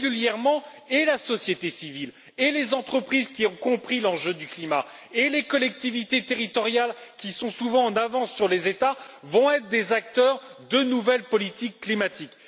En effet, la société civile, les entreprises qui ont compris l'enjeu du climat et les collectivités territoriales, qui sont souvent en avance sur les États, seront régulièrement des acteurs de nouvelles politiques climatiques.